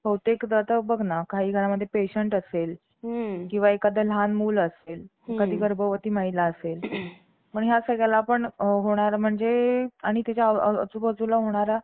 बहुतेक आता बघ ना काही घरांमध्ये patient असेल किंवा एखादे लहान मुल असेल एखादी गर्भवती महिला असेल मग या सगळ्याला आपण होणार म्हणजे आणि त्याच्या आजूबाजूला होणारा